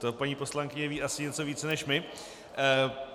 To paní poslankyně ví asi něco víc než my.